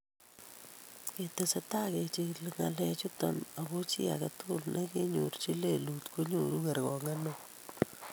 Ketesetai kejigilii ng'alalutichoto ago chi age tugul ne kinyorjin lelut konyoru kergoong'et neoo.